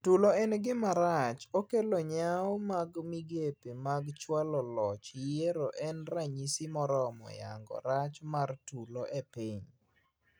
Tulo en ngima rach okelo yaw mag migepe mag chwalo loch yiero en ranyisi moromo yango rach mar tulo epiny.